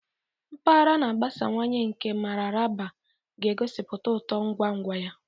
Mpaghara na-agbasawanye nke Mararaba ga-egosipụta uto ngwa ngwa ya.